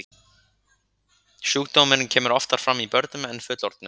Sjúkdómurinn kemur oftar fram í börnum en fullorðnum.